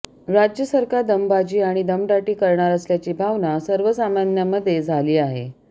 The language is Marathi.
राज्य सरकार दमबाजी आणि दमदाटी करणार असल्याची भावना सर्वसामान्यांमध्ये झाली आहे